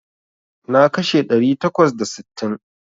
Na kashe ɗari takwas da sittin.